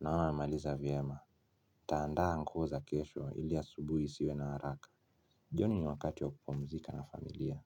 naona wamemaliza vyema. Nitandaa nguo za kesho ili asubuhi isiwe na haraka. Jioni ni wakati wa kupumzika na familia.